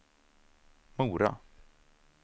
Mora